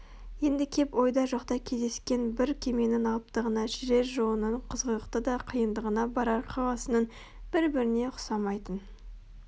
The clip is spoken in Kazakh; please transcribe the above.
енді кеп ойда жоқта кездескен бір кеменің алыптығына жүрер жолының қызғылықты да қиындығына барар қаласының бір-біріне ұқсамайтын